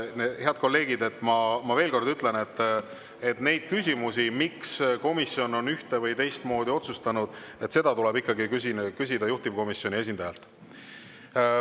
Head kolleegid, ma veel kord ütlen, et neid küsimusi, miks komisjon on ühte‑ või teistmoodi otsustanud, tuleb küsida ikkagi juhtivkomisjoni esindajalt.